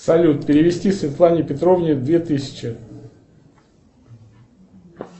салют перевести светлане петровне две тысячи